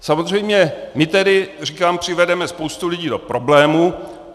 Samozřejmě my tedy, říkám, přivedeme spoustu lidí do problémů.